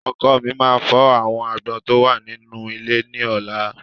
Ọkọ́ mi máa fọ́ àwọn agbọ́n tó wà nínú ilé ní ọ̀la.